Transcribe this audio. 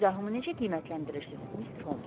Bu izahımı necə qiymətləndirirsiz, Mr. Homs?